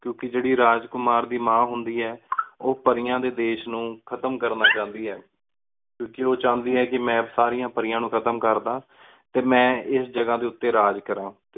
ਕਿਉਕਿ ਜੀਰੀ ਰਾਜ ਕੁਮਾਰ ਦੀ ਮਾ ਹੁੰਦੀ ਆਯ ਓ ਪਰੀਆਂ ਡੀ ਦੇਸ਼ ਨੂ ਖਤਮ ਕਰਨਾ ਚਾਂਦੀ ਆਯ ਕਿਉਕਿ ਓ ਚਾਉਂਦੀ ਹੈ ਕੀ ਮੈਂ ਸਾਰਿਆਂ ਪਰੀਆਂ ਨੂ ਖਤਮ ਕਰ ਦਾ ਤੇ ਮੈਂ ਏਸ ਜਗ੍ਹਾ ਦੇ ਉੱਤੇ ਰਾਜ ਕਰਾਂ।